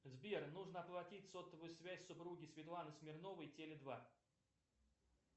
сбер нужно оплатить сотовую связь супруги светланы смирновой теле два